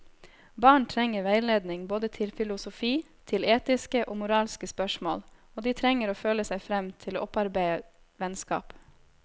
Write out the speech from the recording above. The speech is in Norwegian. Barn trenger veiledning både til filosofi, til etiske og moralske spørsmål, og de trenger å føle seg frem til å opparbeide vennskap.